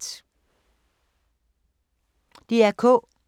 DR K